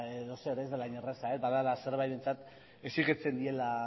edozer ez dela hain erraza badela ertzainentzat exigitzen diela